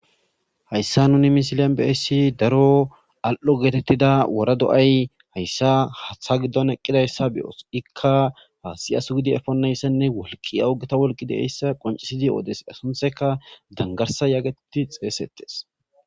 hayssa nuni misilen beessi daro al7o geetettida wora do7ay hayssa hatha giddon eqqidayssa beyoos ikka siyasu gidi efonnayssenne wolki awugeta wolqi deeyssa qoncisidi oodes asuntheka dangarsa yaageti xeesettes